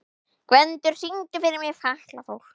Gvendur, syngdu fyrir mig „Fatlafól“.